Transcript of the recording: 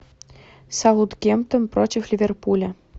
саутгемптон против ливерпуля